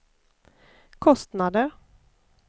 kostnader